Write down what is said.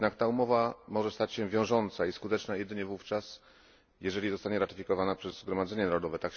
jednak ta umowa może stać się wiążąca i skuteczna jedynie wówczas, jeżeli zostanie ratyfikowana przez zgromadzenie narodowe.